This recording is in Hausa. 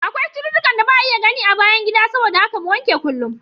Da akwai cututtukan da ba'a iya gani a bayan gida saboda haka mu wanke kullum.